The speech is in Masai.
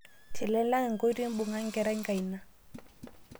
Tinilang nkoitei mbung'a nkerai nkaina